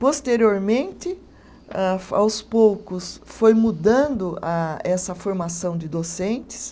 Posteriormente âh, aos poucos, foi mudando a essa formação de docentes,